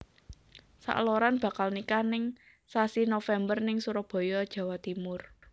Sakloron bakal nikah ning sasi November ning Surabaya Jawa Timur